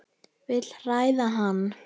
Vil hræða hann.